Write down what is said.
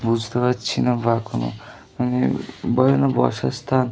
বুজতে পারছি না বা কোনো ।